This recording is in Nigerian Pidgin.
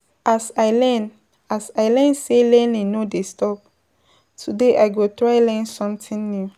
As I learn As I learn say learning no dey stop, today I go try learn sometin new.